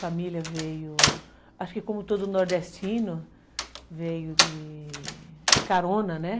Família veio... Acho que como todo nordestino, veio de carona, né?